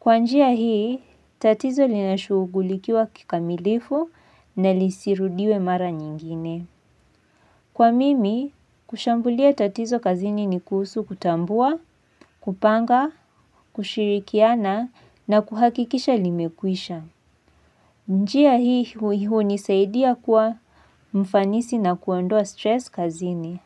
Kwa njia hii, tatizo linashugulikiwa kikamilifu na lisirudiwe mara nyingine. Kwa mimi, kushambulia tatizo kazini ni kuhusu kutambua, kupanga, kushirikiana na kuhakikisha limekwisha. Njia hii hui hunisaidia kwa mfanisi na kuondoa stress kazini.